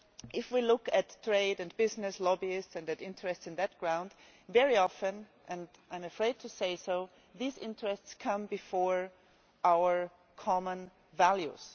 If we look at trade and business lobbyists and interests on that ground, very often I am afraid to say these interests come before our common values.